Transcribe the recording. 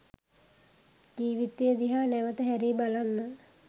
ජීවිතය දිහා නැවත හැරී බලන්න